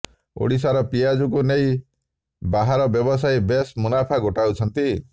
ଓଡ଼ିଶାର ପିଆଜକୁ ନେଇ ବାହାରର ବ୍ୟବସାୟୀ ବେଶ୍ ମୁନାଫା ଗୋଟାଉଛନ୍ତି